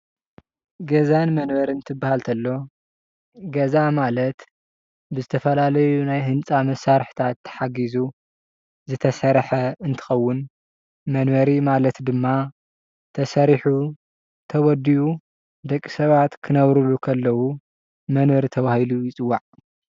ገዛን መንበሪ እንትባሃል ኮሎ ገዛ ማለት ብዝተፋላለዩ ናይ ህኒፃ መሳርሕታት ታሓግዙ ዘተሰረሕ እንተከዉን መንበሪ ማለት ድማ ተሰሪሑ ተወዲኡ ደቅሰባት ክነብርሉ ከለዉ መንበሪ ተባህሉ ይፅዋዓ፡፡